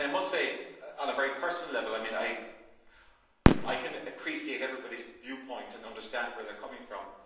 I must say, on a very personal level, that I can appreciate everybody's viewpoint and understand where they are coming from.